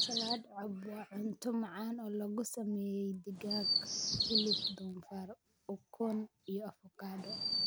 Salad Cobb waa cunto macaan oo lagu sameeyay digaag, hilib doofaar, ukun, iyo avokado.